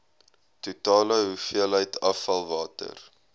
totale hoeveelheid afvalwater